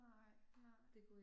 Nej, nej